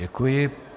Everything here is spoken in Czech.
Děkuji.